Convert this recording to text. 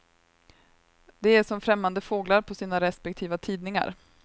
De är som främmande fåglar på sina respektiva tidningar.